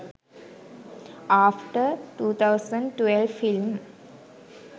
after 2012 film